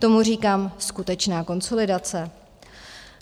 Tomu říkám skutečná konsolidace.